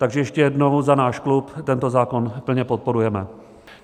Takže ještě jednou, za náš klub tento zákon plně podporujeme.